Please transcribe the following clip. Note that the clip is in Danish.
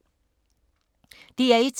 DR1